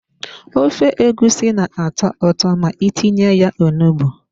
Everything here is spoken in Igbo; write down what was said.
Ofe egusi na-atọ ụtọ ma itinye ya onugbu.